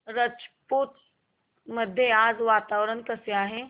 राजूर मध्ये आज वातावरण कसे आहे